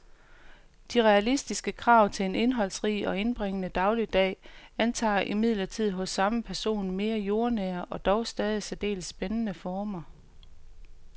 De realistiske krav til en indholdsrig og indbringende dagligdag antager imidlertid hos samme person mere jordnære og dog stadig særdeles spændende former.